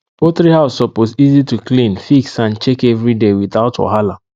poultry house suppose easy to clean fix and check every day without wahala